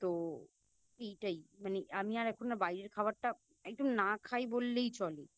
তো এইটাই মানে আমি আর এখন না বাইরের খাওয়ারটা একদম না খাই বললেই চলে